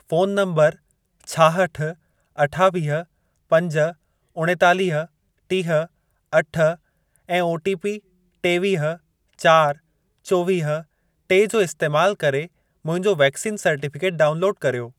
Phone number छाहठि, अठावीह, पंज, उणेतालीह, टीह, अठ ऐं ओटीपी टेवीह, चारि, चोवीह, टे जो इस्तैमाल करे मुंहिंजो वैक्सीन सर्टिफिकेट डाउनलोड कर्यो।